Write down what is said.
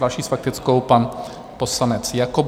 Další s faktickou pan poslanec Jakob.